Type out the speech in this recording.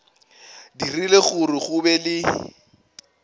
dirile gore go be le